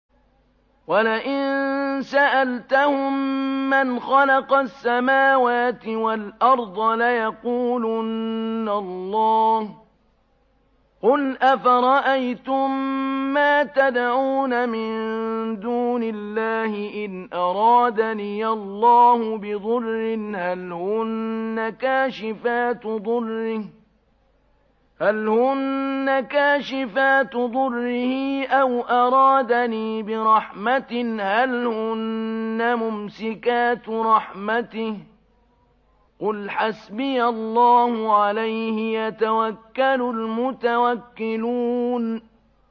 وَلَئِن سَأَلْتَهُم مَّنْ خَلَقَ السَّمَاوَاتِ وَالْأَرْضَ لَيَقُولُنَّ اللَّهُ ۚ قُلْ أَفَرَأَيْتُم مَّا تَدْعُونَ مِن دُونِ اللَّهِ إِنْ أَرَادَنِيَ اللَّهُ بِضُرٍّ هَلْ هُنَّ كَاشِفَاتُ ضُرِّهِ أَوْ أَرَادَنِي بِرَحْمَةٍ هَلْ هُنَّ مُمْسِكَاتُ رَحْمَتِهِ ۚ قُلْ حَسْبِيَ اللَّهُ ۖ عَلَيْهِ يَتَوَكَّلُ الْمُتَوَكِّلُونَ